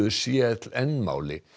c l n máli